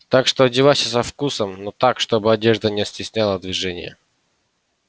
так что одевайся со вкусом но так чтобы одежда не стесняла движение